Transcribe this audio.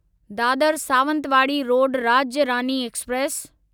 Dadar Sawantwadi road Rajya Rani express